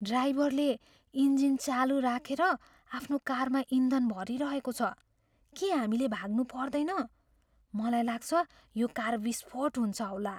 ड्राइभरले इन्जिल चालु राखेर आफ्नो कारमा इन्धन भरिरहेको छ। के हामीले भाग्नु पर्दैन? मलाई लाग्छ यो कार विस्फोट हुन्छ होला।